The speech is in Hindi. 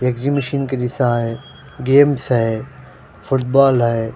ये एग्जीमिशन के जिस्सा है गेम्स है फुटबॉल है।